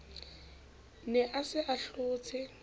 ne a se a tlotse